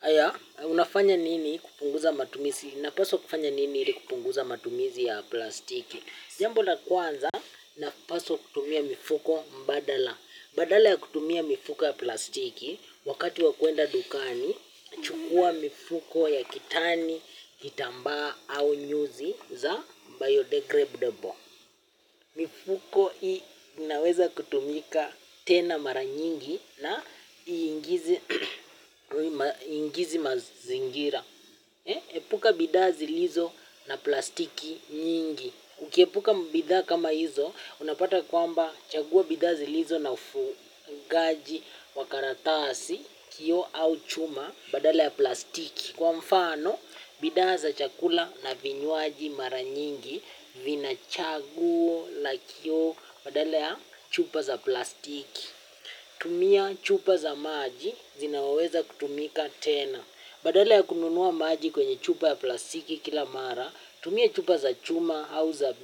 Aya, unafanya nini kupunguza matumizi na paso kufanya nini ili kupunguza matumizi ya plastiki. Jambo la kwanza na paso kutumia mifuko mbadala. Badala ya kutumia mifuko ya plastiki wakati wa kuenda dukani. Chukua mifuko ya kitani, hitamba au nyuzi za biodegradable. Mifuko hii naweza kutumika tena maranyingi. Na ingizi mazingira. Epuka bidazi lizo na plastiki nyingi. Ukiepuka bidha kama hizo. Unapata kwamba chagua bidazi lizo na fugaji wa karatasi kio au chuma badale ya plastiki. Kwa mfano bidaa za chakula na vinyuaji mara nyingi vina chagua la kio badale ya chupa za plastiki. Tumia chupa za maji zinaweza kutumika tena. Badale ya kununuwa maji kwenye chupa ya plastiki kila mara tumia chupa za chuma au za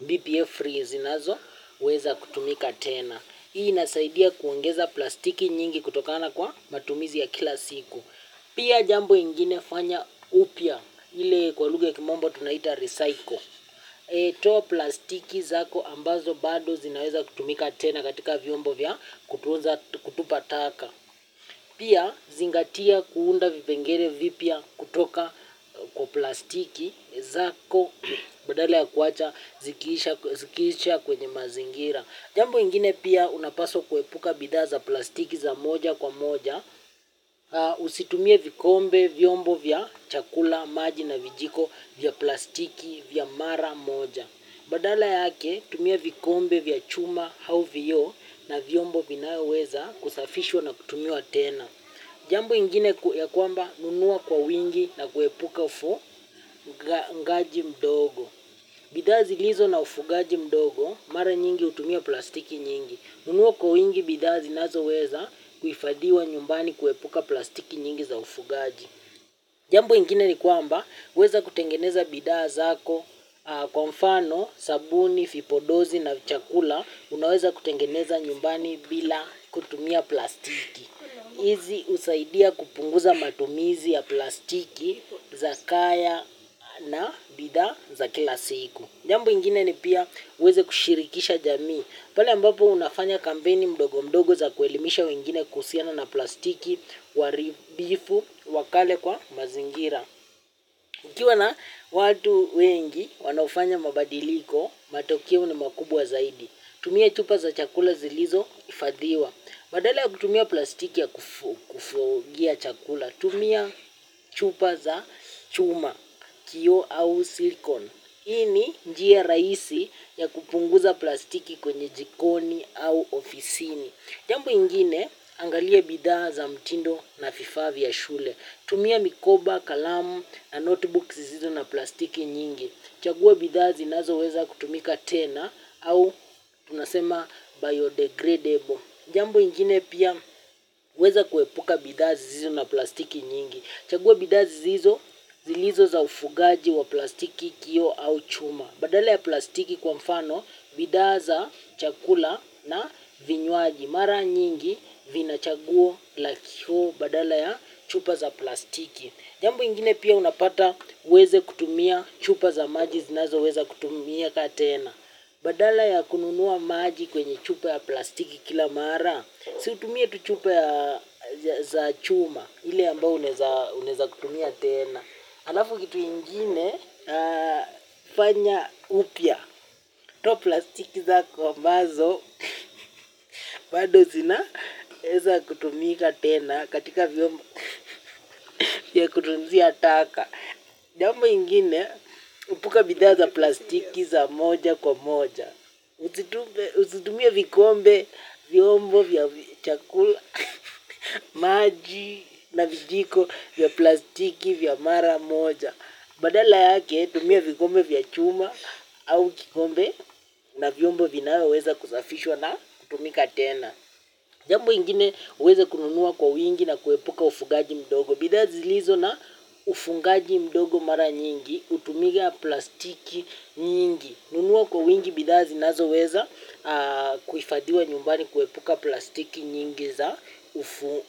BPA free zinazo weza kutumika tena. Hii nasaidia kuongeza plastiki nyingi kutokana kwa matumizi ya kila siku. Pia jambo ingine fanya upya ili kwa luge kimombo tunaita recycle. Toa plastiki zako ambazo bado zinaweza kutumika tena katika viombo vya kutupataka. Pia zingatia kuunda vipengere vipya kutoka kwa plastiki zako badale ya kuwacha zikiisha kwenye mazingira. Jambo ingine pia unapaso kuepuka bidaza plastiki za moja kwa moja, usitumie vikombe vyombo vya chakula, maji na vijiko vya plastiki vya mara moja. Badala yake, tumie vikombe vya chuma hau vio na vyombo binaya weza kusafishwa na kutumia tena. Jambo ingine ya kwamba nunua kwa wingi na kuepuka ufungaji mdogo. Bidaa zilizo na ufugaji mdogo, mara nyingi utumia plastiki nyingi. Unuoko ingi bidazi nazo weza kufadiwa nyumbani kuepuka plastiki nyingi za ufugaji. Jambu ingine ni kwamba, weza kutengeneza bidazi hako kwa mfano, sabuni, fipodozi na chakula. Unaweza kutengeneza nyumbani bila kutumia plastiki. Izi usaidia kupunguza matumizi ya plastiki za kaya na bidaa za kila siku. Jambu ingine ni pia uweze kushirikisha jamii, pale ambapo unafanya kampeni mdogo mdogo za kuelimisha wengine kusiana na plastiki, waribifu, wakale kwa mazingira. Mkiwa na watu wengi wanafanya mabadiliko, matokeo ni makubwa zaidi, tumia chupa za chakula zilizo, ifadhiwa. Badala ya kutumia plastiki ya kufugia chakula, tumia chupa za chuma, kio au silikon. Hii ni njia raisi ya kupunguza plastiki kwenye jikoni au ofisini. Jambo ingine angalie bidha za mtindo na fifaa vya shule. Tumia mikoba, kalamu na notebooks zizo na plastiki nyingi. Chagua bidha zinazo weza kutumika tena au tunasema biodegradable. Jambu ingine pia weza kuepuka bidha zisizo na plastiki nyingi. Chagua bidaa zi zizo zilizo za ufugaji wa plastiki kio au chuma badala ya plastiki kwa mfano bidaa za chakula na vinywaji. Mara nyingi vina chagua lakio badala ya chupa za plastiki. Jambu ingine pia unapata weze kutumia chupa za maji zinazo weze kutumiaka tena. Badala ya kununua maji kwenye chupa ya plastiki kila mara. Siutumia tu chupa za chuma, hile ambao uneza kutumia tena. Halafu kitu ingine, fanya upya. Toa plastiki zako ambazo, bado sina eza kutumika tena, katika viombo ya kutunzia ataka. Jambo ingine, epuka bidha za plastiki za moja kwa moja. Usitumia vikombe viombo vya chakula, maji na vijiko vya plastiki vya mara moja. Badala yake tumia vikombe vya chuma au kikombe na vyombo vinawe weza kuzafishwa na kutumika tena. Jambo ingine weza kununuwa kwa wingi na kuwepuka ufungaji mdogo. Bida zi lizo na ufungaji mdogo mara nyingi, utumiga plastiki nyingi. Nunua kwa wingi bidazi nazo weza kufadhiwa nyumbani kuwepuka plastiki nyingi za ufunga.